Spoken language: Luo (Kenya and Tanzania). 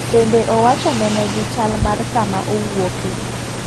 Bende owacho ne ne gi chal mar kama owuoke.